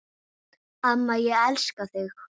Amma, ég elska þig.